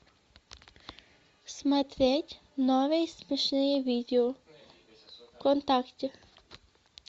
смотреть новые смешные видео вконтакте